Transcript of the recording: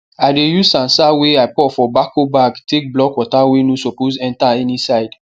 i dey use sand sand wey i pour for bako bag take block water wey no suppose enter any side